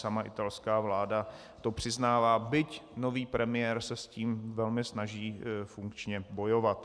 Sama italská vláda to přiznává, byť nový premiér se s tím velmi snaží funkčně bojovat.